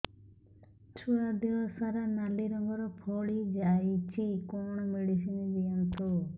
ଛୁଆ ଦେହ ସାରା ନାଲି ରଙ୍ଗର ଫଳି ଯାଇଛି କଣ ମେଡିସିନ ଦିଅନ୍ତୁ